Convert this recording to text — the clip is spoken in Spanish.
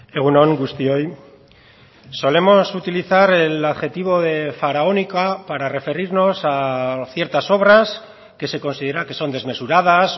egun on guztioi solemos utilizar el adjetivo de faraónica para referirnos a ciertas obras que se considera que son desmesuradas